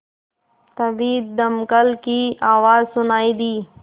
तभी दमकल की आवाज़ सुनाई दी